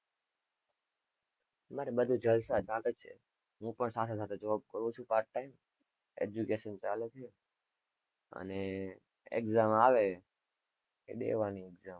મારે બધું જલસા ચાલે છે હું પણ સાથે સાથે job કરું છું part timeeducation ચાલે છે. અને exam આવે એ દેવાની.